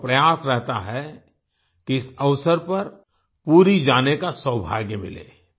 लोगों का प्रयास रहता है कि इस अवसर पर पुरी जाने का सौभाग्य मिले